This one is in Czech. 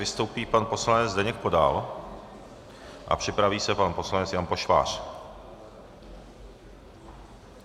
Vystoupí pan poslanec Zdeněk Podal a připraví se pan poslanec Jan Pošvář.